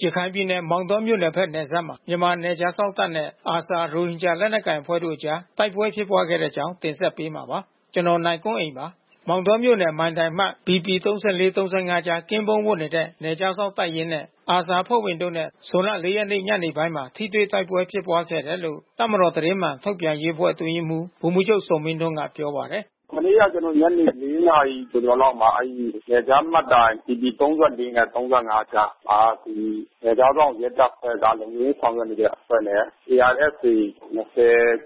ရခိုင်ပြည်နယ် မောင်တောမြို့နယ်ဘက်နယ်စပ်မှာ မြန်မာနယ်ခြားစောင့်တပ်နဲ့ ARSA ရိုဟင်ဂျာလက်နက်ကိုင် အဖွဲ့တို့အကြား တိုက်ပွဲဖြစ်ပွားခဲ့တဲ့အကြောင်းကို ဗွီအိုအေမြန်မာပိုင်း သတင်းထောက် ကိုနိုင်ကွန်းအိန်က တင်ဆက်ပေးမှာပါ။ မောင်တောမြို့နယ် နယ်ခြားမှတ်တိုင် BP 34/35 ကြား ကင်းပုန်းဝပ်နေတဲ့ နယ်ခြားစောင့်တပ်ရင်းနဲ့ ARSA အဖွဲ့ဝင်တို့နဲ့ ဇွန်လ ၄ ရက်ညနေပိုင်းမှာ ထိတွေ့တိုက်ပွဲဖြစ်ပွားခဲ့တယ်လို့ တပ်မတော် သတင်းမှန်ထုတ်ပြန်ရေးအတွင်းရေးမှူး ဗိုလ်မှူးချုပ်ဇော်မင်းထွန်းက ပြောပါတယ်။ “မနေ့က ကျနော်တို့ ညနေ ၄ နာရီကျော်ကျော်လောက်မှာ နယ်ခြားမှတ်တိုင် BP 34 နဲ့ 35 ကြားမှာ နယ်ခြားစောင့် ရဲတပ်ဖွဲ့က လုံခြုံရေးဆောင်ရွက်နေတဲ့အဖွဲ့နဲ့ ARSA ၂၀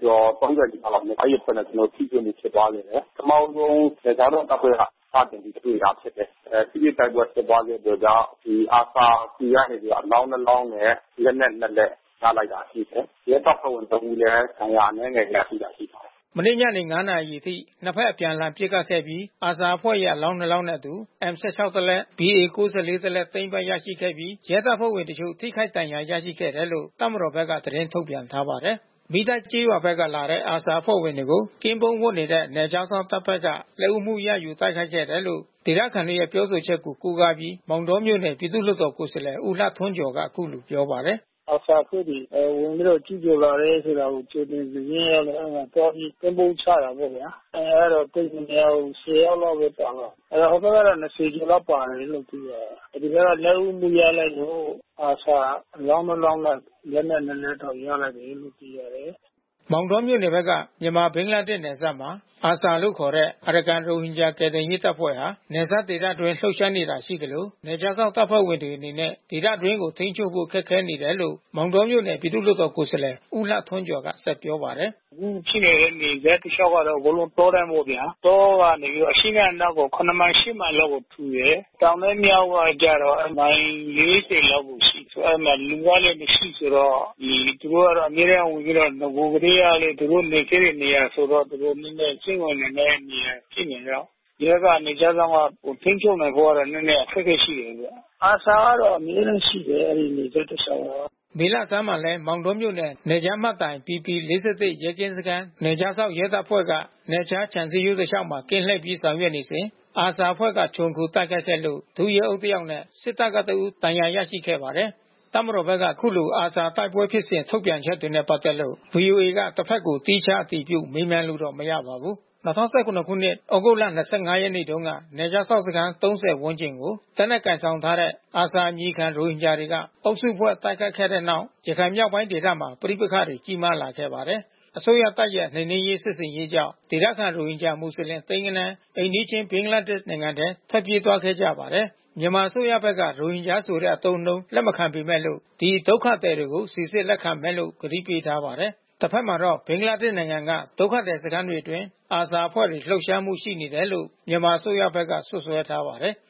ကျော် ၃၀ နီးပါးလောက်။ အဲဒီအဖွဲ့နဲ့ ကျနော်တို့ ထိတွေ့မှု ဖြစ်ပွားခဲ့တယ်။ ပထမဦးဆုံး နယ်ခြားစောင့်တပ်ဖွဲ့က စတင်ပြီးတွေ့တာဖြစ်တယ်။ ထိတွေ့တိုက်ပွဲဖြစ်ပွားခဲ့ပြီးတော့က ဒီ ARSA ဆီကနေအလောင်း နှစ် လောင်းရယ်။ လက်နက် နှစ် လက် ရလိုက်တာရှိတယ်။ ရဲတပ်ဖွဲ့ဝင်တဦးလည်း ဒဏ်ရာအနည်းငယ် ရလိုက်တာရှိတယ်။” မနေ့ညနေ ၅ နာရီအချိန်အထိ နှစ်ဘက် အပြန်အလှန်ပစ်ခတ်ပြီး ARSA အဖွဲ့ရဲ့ အလောင်းနှစ်လောင်းနှင့်အတူ M-16 တစ်လက် BA-94 တစ်လက် သိမ်းပိုက်ရရှိခဲ့ပြီး ရဲတပ်ဖွဲ့ဝင်အချို့ ထိခိုက်ဒဏ်ရာ ရရှိခဲ့တယ်လို့ တပ်မတော်ဘက်က သတင်းထုတ်ပြန်ထားပါတယ်။ မီးတိုက်ကျေးရွာဘက်ကနေလာတဲ့ ARSA အဖွဲ့ဝင်တွေကို ကင်းပုန်းဝပ်နေတဲ့ နယ်ခြားစောင့်တပ်ဘက်က လက်ဦးမှုရယူ တိုက်ခိုက်ခဲ့တယ်လို့ ဒေသခံတွေရဲ့ပြောဆိုချက်ကို ကိုးကားပြီး မောင်တောမြို့နယ် ပြည်သူ့လွှတ်တော် ကိုယ်စားလှယ် ဦးလှထွန်းကျော်က အခုလိုပြောပါတယ်။ “ARSA အဖွဲ့က ဝင်ပြီးတော့ ကျူးကျော်လာတယ်ဆိုတာ ကြိုတင်သတင်းသိရလို့ သွားပြီးကင်းပုန်းချတာပေါ့ဗျာ။ အင်အားတော့ သိပ်မများဘူး ၁၀ ယောက်လောက်ပဲပါတယ်။ ဟိုဘက်ကတော့ ၂၀ ကျော်လောက်ပါတယ်လို့သိရတယ်။ ဒီဘက်က လက်ဦးမှု ရလိုက်လို့ ARSA အလောင်းနှစ်လောင်းနဲ့ လက်နက် နှစ်လက်ရလိုက်တယ်လို့ သိရတယ်။” မောင်တောမြို့နယ်က မြန်မာ - ဘင်္ဂလားဒေ့ရှ်နယ်စပ်မှာ ARSA လို့ခေါ်တဲ့ အရကန်ရိုဟင်ဂျာကယ်တင်ရေးတပ်ဖွဲ့ဟာ နယ်စပ်ဒေသအတွင်းလှုပ်ရှားနေတာ ရှိသလို နယ်ခြားစောင့်တပ်ဖွဲ့တွေအနေနဲ့ ဒေသတွင်းကို ထိန်းချုပ်ဖို့ ခက်ခဲနေတယ်လို့ မောင်တောမြို့နယ်ပြည်သူ့လွှတ်တော်ကိုယ်စားလှယ် ဦးလှထွန်းကျော်ကပြောပါတယ်။ “အခုဖြစ်နေတဲ့ နယ်စပ်တလျှောက်က အကုန်လုံးတောတန်းပေါ့ဗျာ။ တောကနေပြီးတော့ အရှေ့နဲ့အနောက်ကို ၇ မိုင်၊ ၈ မိုင်လောက်ကို ထူတယ်။ တောင်နဲ့ မြောက်ကကျတော့ မိုင် ၄၀ လောက်ကိုရှိတယ်။ အဲဒီမှာ လူကလည်း မရှိဘူးဆိုတော့ သူတို့ကတော့ အမြဲတန်းဝင်ပြီးတော့ နဂိုလ်ကတည်းက သူတို့နေခဲ့တဲ့နေရာဆိုတော့ သူတို့ နည်းနည်းစိမ့်ဝင်နေတဲ့ နေရာဖြစ်နေတော့ ရဲက နယ်ခြားစောင့်က ထိန်းချုပ်နိုင်ဖို့ကတော့ နည်းနည်းအခက်ခဲရှိတယ်ဗျ။ ARSA ကတော့ အမြဲတမ်းရှိတယ် အဲဒီ နယ်စပ်တလျှောက်မှာ။” မေလဆန်းမှာလည်း မောင်တောမြို့နယ် နယ်ခြားမှတ်တိုင် BP ၄၁ ရဲကင်းစခန်း နယ်ခြားစောင့် ရဲတပ်ဖွဲ့က နယ်ခြားခြံ စည်းရိုးတလျှောက်မှာ ကင်းလှည့်ပြီး ဆောင်ရွက်နေစဉ် ARSA အဖွဲ့က ခြုံခိုတိုက်ခိုက်ခဲ့လို့ ဒုရဲအုပ်တယောက်နဲ့ စစ်တပ်ကတဦး ဒဏ်ရာရခဲ့ပါတယ်။ တပ်မတော်ဘက်က အခုလို ARSA တိုက်ပွဲဖြစ်စဉ် ထုတ်ပြန်ချက်တွေနဲ့ ပတ်သက်လို့ ဗွီအိုအေက တဘက်ကို သီးခြားအတည်ပြုမေးမြန်းလို့တော့ မရပါဘူး။ ၂၀၁၇ သြဂုတ်လ ၂၅ ရက်နေ့တုန်းကနယ်ခြားစောင့်စခန်း ၃၀ ဝန်းကျင်ကို လက်နက်ကိုင်ဆောင်ထားတဲ့ ARSA အမည်ခံ ရိုဟင်ဂျာတွေက အုပ်စုဖွဲ့ တိုက်ခိုက်ခဲ့တဲ့နောက် ရခိုင်မြောက်ပိုင်းဒေသမှာ ပဋိပက္ခတွေ ကြီးမားခဲ့ပါတယ်။ အစိုးရတပ်ရဲ့ နှိမ်နင်းရေးစစ်ဆင်ရေးကြောင့် ဒေသခံ ရိုဟင်ဂျာမွတ်လင် သိန်းဂဏန်း အိမ်နီးချင်း ဘင်္ဂလားဒေ့ရ်ှထဲ ထွက်ပြေးသွားခဲ့ကြပါတယ်။ မြန်မာအစိုးရဘက်က ရိုဟင်ဂျာဆိုတဲ့အသုံးအနှုန်းကို လက်မခံပေမဲ့လို့ ဒီ ဒုက္ခသည်တွေကို စိစစ်လက်ခံမယ်လို့ ဂတိပေးထားပါတယ်။ တဘက်မှာတော့ ဘင်္ဂလားဒေ့ရ်ှက ဒုက္ခသည်စခန်းတွေအတွင်း ARSA အဖွဲ့ လှုပ်ရှားမှုတွေရှိတယ်လို့ မြန်မာအစိုးရဘက်က စွပ်စွဲထားပါတယ်။